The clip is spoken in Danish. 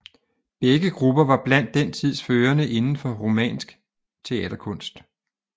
Begge grupper var blandt den tids førende inden for rumænsk teaterkunst